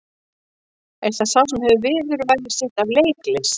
Er það sá sem hefur viðurværi sitt af leiklist?